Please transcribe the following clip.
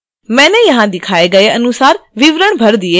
मैंने यहां दिखाए गए अनुसार विवरण भर दिए हैं